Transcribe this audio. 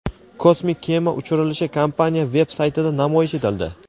Kosmik kema uchirilishi kompaniya veb-saytida namoyish etildi.